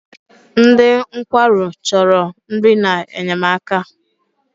Ndị nkwarụ chọrọ nri na-enyemaka.